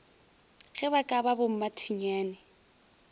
ge ba ka ba bommathinyane